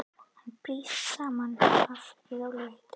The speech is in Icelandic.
Hann brýtur saman afritið í rólegheitunum.